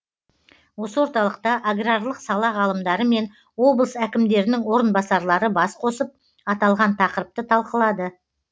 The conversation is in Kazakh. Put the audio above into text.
осы орталықта аграрлық сала ғалымдары мен облыс әкімдерінің орынбасарлары бас қосып аталған тақырыпты талқылады